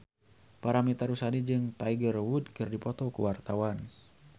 Paramitha Rusady jeung Tiger Wood keur dipoto ku wartawan